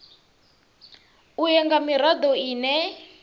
u ya nga mirado ine